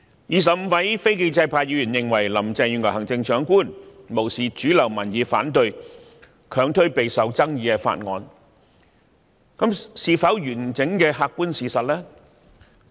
二十五位非建制派議員認為行政長官林鄭月娥無視主流民意反對，強推備受爭議的法案，這是否完整的客觀事實？